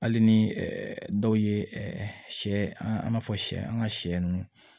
Hali ni dɔw ye sɛ an b'a fɔ siyɛ an ka sɛ ninnu